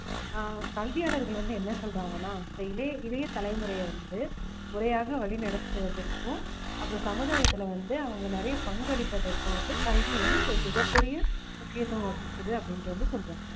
ஆஹ் கல்வியாளர்கள் வந்து என்ன சொல்றாங்கன்னா இந்த இளை~ இளைய தலைமுறையை வந்து முறையாக வழிநடத்துவதற்கும் அப்புறம் சமுதாயத்துல வந்து அவுங்க நிறைய பங்களிப்பதற்கும் வந்து கல்வி வந்து ஒரு மிகப் பெரிய முக்கியத்துவம் வகிக்குது அப்படின்ட்டு வந்து சொல்றாங்க